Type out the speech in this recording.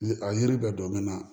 Ni a yiri bɛɛ dɔn na